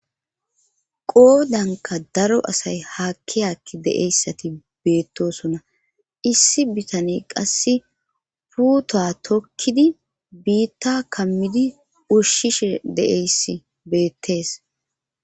qoodanka daro asay haakki hakki de7eyssati beettosona issi bitane qasse puuta tokkidi biitta kammidi ushshishe deeysi beettees